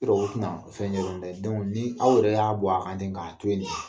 I kɔrɔkɛ tɛna fɛn dɛ dɔnku ni aw yɛrɛ y'a bɔ a kan ten k'a to ye ten